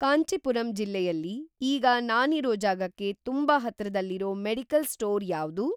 ಕಾಂಚೀಪುರಂ ಜಿಲ್ಲೆಯಲ್ಲಿ ಈಗ ನಾನಿರೋ ಜಾಗಕ್ಕೆ ತುಂಬಾ ಹತ್ರದಲ್ಲಿರೋ ಮೆಡಿಕಲ್ ಸ್ಟೋರ್ ಯಾವ್ದು?